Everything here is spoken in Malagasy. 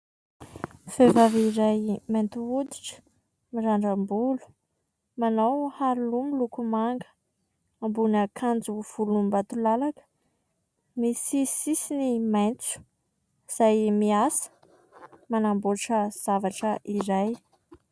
Vehivavy iray mainty hoditra, mirandram-bolo, manao haro loha miloko manga, ambony akanjo volombatolalaka, misy sisiny maitso, izay miasa, manamboatra zavatra iray.